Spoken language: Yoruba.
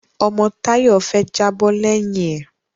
Ọmọ Táyọ̀ fẹ́ jábọ́ lẹ́yìn ẹ̀